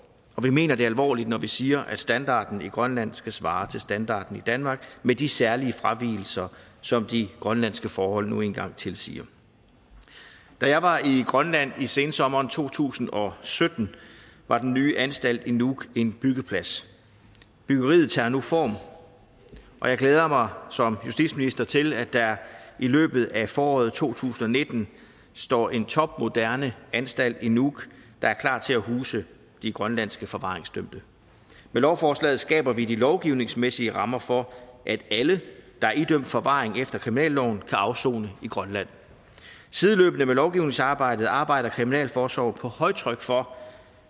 vi mener det alvorligt når vi siger at standarden i grønland skal svare til standarden i danmark med de særlige fravigelser som de grønlandske forhold nu engang tilsiger da jeg var i grønland i sensommeren to tusind og sytten var den nye anstalt i nuuk en byggeplads byggeriet tager nu form og jeg glæder mig som justitsminister til at der i løbet af foråret to tusind og nitten står en topmoderne anstalt i nuuk der er klar til at huse de grønlandske forvaringsdømte med lovforslaget skaber vi de lovgivningsmæssige rammer for at alle der er idømt forvaring efter kriminalloven kan afsone i grønland sideløbende med lovgivningsarbejdet arbejder kriminalforsorgen på højtryk for